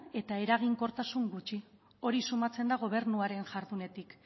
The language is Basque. eta eraginkortasun gutxi hori sumatzen da gobernuaren jardunetik